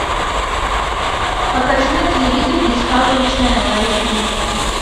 покажи на телевизоре дискавери ченел эйч ди